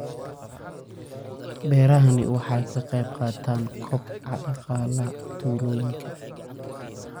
Beerahani waxa ay ka qayb qaataan kobaca dhaqaalaha tuulooyinka.